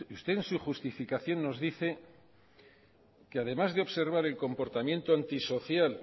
usted en su justificación nos dice que además de observar el comportamiento antisocial